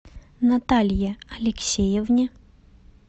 наталье алексеевне